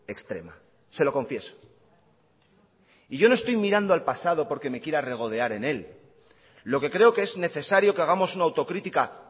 extrema se lo confieso y yo no estoy mirando al pasado porque me quiera regodear en é lo que creo que es necesario que hagamos una autocrítica